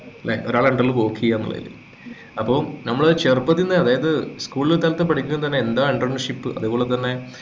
ല്ലെ ഒരാളുടെ under ല് work ചെയ്യാനുള്ള അതില് അപ്പൊ നമ്മള് ചെറുപ്പത്തിലേ തന്നെ അതായത്ൽ school കാലത്തു പഠിക്കുമ്പോൾ തന്നെ എന്താ entrepreneurship അതേപോലെതന്നെ